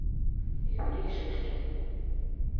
юрий шишкин